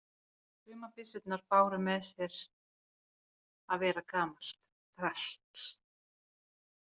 Sumar byssurnar báru með sér að vera gamalt drasl.